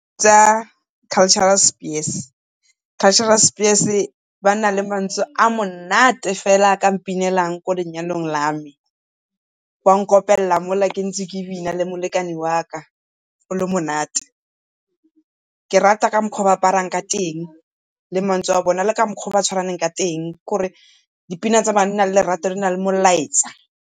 Tsa Cultural Spears. Cultural Spears ba na le mantswe a a monate fela a ka mpinelang ko lenyalong la me, ba nkopella mola ntse ke bina le molekane waka gole monate. Ke rata ka mokgwa o ba aprarang ka teng, le mantswe a bone, le ka mokgwa o ba tshwaraneng ka teng kore dipina tsa di na le lerato di na le molaetsa.